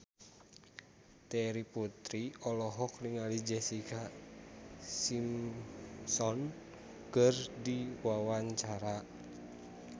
Terry Putri olohok ningali Jessica Simpson keur diwawancara